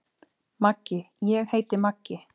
Maggi: Ég heiti Maggi.